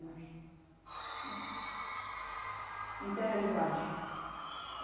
Mais, né? Não tem resguarde.